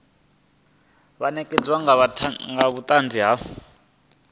vha ṋekane nga vhuṱanzi ha